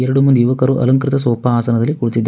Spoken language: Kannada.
ಯುವಕರು ಅಲಂಕೃತ ಸೋಫಾ ಆಸನದಲ್ಲಿ ಕುಳಿತಿದ್ದಾ--